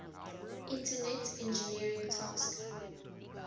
internet engineering task